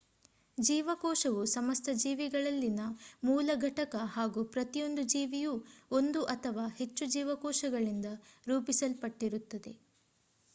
ಜೀವಕೋಶವು ಸಮಸ್ತ ಜೀವಿಗಳಲ್ಲಿನ ಮೂಲ ಘಟಕ ಹಾಗೂ ಪ್ರತಿಯೊಂದು ಜೀವಿಯೂ ಒಂದು ಅಥವಾ ಹೆಚ್ಚು ಜೀವಕೋಶಗಳಿಂದ ರೂಪಿಸಲ್ಪಟ್ಟಿರುತ್ತದೆ